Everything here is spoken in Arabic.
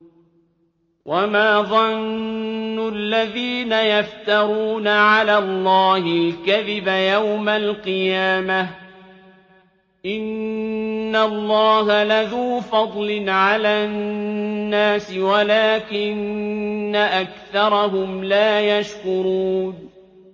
وَمَا ظَنُّ الَّذِينَ يَفْتَرُونَ عَلَى اللَّهِ الْكَذِبَ يَوْمَ الْقِيَامَةِ ۗ إِنَّ اللَّهَ لَذُو فَضْلٍ عَلَى النَّاسِ وَلَٰكِنَّ أَكْثَرَهُمْ لَا يَشْكُرُونَ